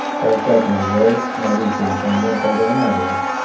Shavkat Mirziyoyev mobil telefondan foydalanadimi?.